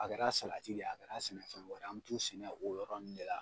A kɛra a salati de ye, a kɛra a sɛnɛ fɛn wɛrɛ an b'u tu sɛnɛ o yɔrɔ nunnu de la.